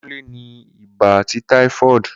kunle ni iba ati typhoid.